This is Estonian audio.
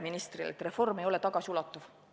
Ministril oli väide, et reform ei ole tagasiulatuv.